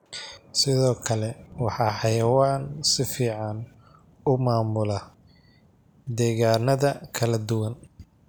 Sidoo kale, waa xayawaan si fiican u maamula degaannada kala duwan.